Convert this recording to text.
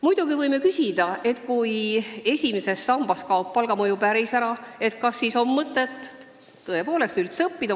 Muidugi võime küsida, et kui esimesest sambast kaob palgamõju päris ära, kas siis on mõtet üldse õppida.